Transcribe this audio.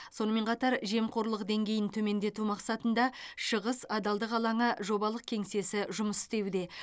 сонымен қатар жемқорлық деңгейін төмендету мақсатында шығыс адалдық алаңы жобалық кеңсесі жұмыс істеуде